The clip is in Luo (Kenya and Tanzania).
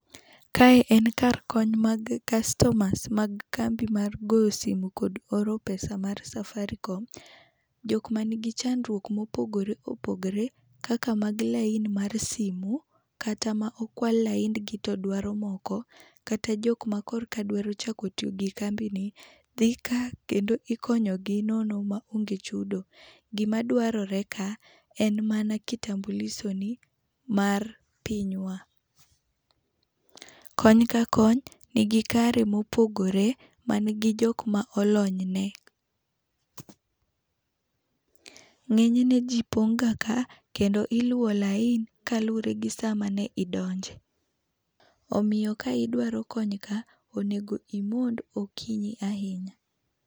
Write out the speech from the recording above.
Ka en kar kony mar customers mar goyo simo kod oro pesa mar Safaricom. jok ma ni gi chandruok ma opogore opogore kaka mag lain mar simo kata ma okwal laind gi to dwaro moko kata jok ma koka dwa chako tiyo gi kambi ni dhi ka kendo ikonyo gi nono maonge chudo. gi ma dwarore ka en mana kitambuliso ni mar piny wa. Kony ka kony ni gi kare ma opogore ma ni gi jok ma olony ne.Ng'enyne ji pong ga ka kendo iluo lain kalure gi sa ma ne idonje omiyo ka idwa kony kae onego imond okinyi ahinya.